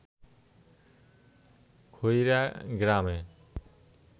খইরা গ্রামে